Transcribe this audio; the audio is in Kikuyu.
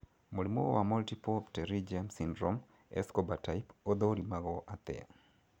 Mũrimũ wa multiple pterygium syndrome, Escobar type ũthũrimagwo atĩa